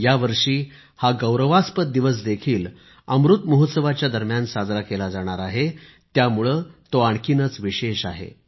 यावर्षी हा गौरवास्पद दिवस देखील अमृत महोत्सवाच्या दरम्यान साजरा केला जाणार आहे त्यामुळे तो आणखीनच विशेष आहे